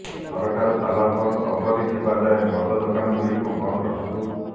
ସରକାର ତାଲାବନ୍ଦ ଅବଧି ଥିବା ଯାଏ ମଦ ଦୋକାନଗୁଡ଼ିକୁ ବନ୍ଦ ରଖନ୍ତୁ